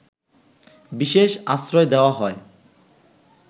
বিশেষ আশ্রয় দেওয়া হয়